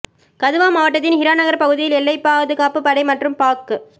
கதுவா மாவட்டத்தின் ஹிராநகர் பகுதியில் எல்லைப்பபாதுகாப்பு படை மற்றும் பாக்